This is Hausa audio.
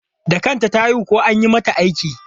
Da kanta ta haihu ko an yi mata aiki?